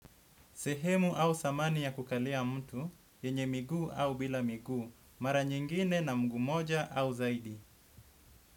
Sehemu au samani ya kukalia mtu, yenye miguu au bila miguu, mara nyingine na mguu moja au zaidi.